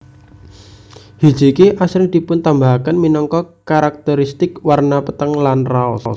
Hijiki asring dipuntambahaken minangka karakterisitik warna peteng lan raos